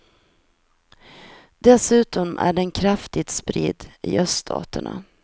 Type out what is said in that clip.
Dessutom är den kraftigt spridd i öststaterna.